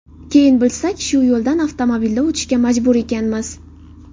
Keyin bilsak, shu yo‘ldan avtomobilda o‘tishga majbur ekanmiz.